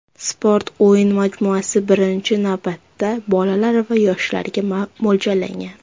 Sport-o‘yin majmuasi birinchi navbatda bolalar va yoshlarga mo‘ljallangan.